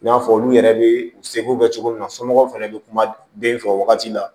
I n'a fɔ olu yɛrɛ bɛ u seko kɛ cogo min na somɔgɔw fana bɛ kuma den fɛ o wagati la